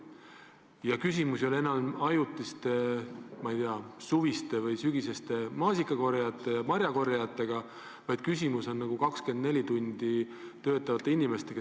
Ja küsimus ei ole enam ajutistes, ma ei tea, suvistes maasika- ja muude marjade korjajates või sügisestes töötegijates, küsimus on siin pidevalt töötavates inimestes.